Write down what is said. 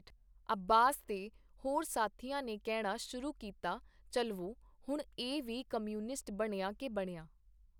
ਅੱਬਾਸ ਤੇ ਹੋਰ ਸਾਥੀਆਂ ਨੇ ਕਹਿਣਾ ਸ਼ੁਰੂ ਕੀਤਾ, ਚੱਲਵੋ, ਹੁਣ ਇਹ ਵੀ ਕਮਿਊਨਿਸਟ ਬਣਿਆਂ ਕੇ ਬਣਿਆਂ.